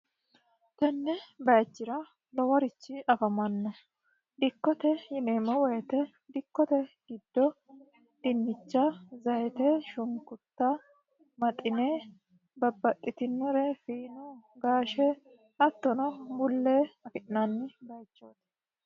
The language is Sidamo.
tenne bayichira loworichi afamanno dikkote yineemo woyite dikkote giddo dinnicha zayite shunkutta maxine babbaxxitinore fiino gaashe hattono bullee afi'naanni bayichooti